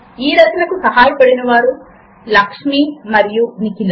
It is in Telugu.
ఈ రచనకు సహాయపడినవారు లక్ష్మి మరియు నిఖిల